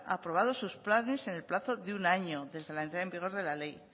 aprobados sus planes en el plazo de un año desde la entrada en vigor de la ley